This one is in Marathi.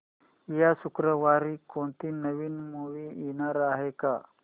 या शुक्रवारी कोणती नवी मूवी येणार आहे का